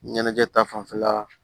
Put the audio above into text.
Ɲɛnajɛ ta fanfɛla